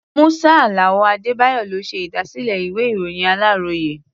Musa Alao Adedayo ló ṣe ìdásílẹ̀ ìwé-ìròyìn aláròyé.